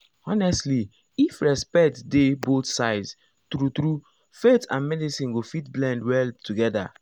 honestly if respect dey both sides true true faith and medicine go fit blend well together.